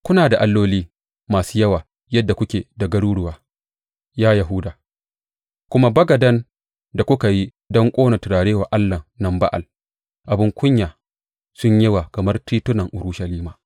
Kuna da alloli masu yawa yadda kuke da garuruwa, ya Yahuda; kuma bagadan da kuka yi don ƙona turare wa allahn nan Ba’al abin kunya sun yi yawa kamar titunan Urushalima.’